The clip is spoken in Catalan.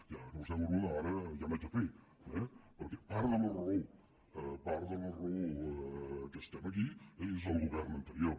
ja que vostè m’ho pregunta ara ja n’haig de fer perquè part de la raó part de la raó per la qual estem aquí és el govern anterior